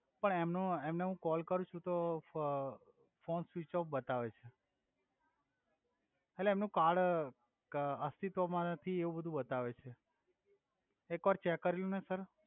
પણ એમનો એમને હુ કોલ કરુ છુ તો ફ ફોન સ્વિચ ઓફ બતાવે છે એટ્લે એમનુ કાર્ડ ક અસ્તિત્વ મા નથી એવુ બધુ બતાવે છે એક વાર ચેક કરી લો ને સર